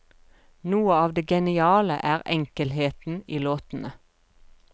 Noe av det geniale, er enkelheten i låtene.